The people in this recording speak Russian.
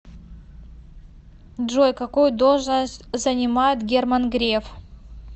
джой какую должность занимает герман греф